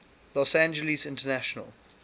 los angeles international